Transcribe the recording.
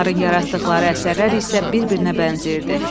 Onların yaratdıqları əsərlər isə bir-birinə bənzəyirdi.